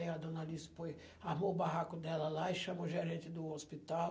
Aí a dona Alice pois, armou o barraco dela lá e chamou o gerente do hospital.